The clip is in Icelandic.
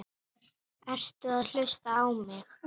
Ertu að hlusta á mig?